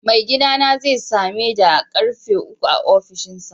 Mai gidana zai same da a'karfe uku a ofishinsa.